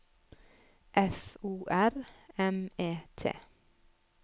F O R M E T